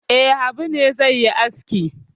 E, Habu ne zai yi aski.